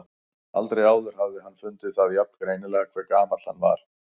Aldrei áður hafði hann fundið það jafn greinilega hve gamall hann var.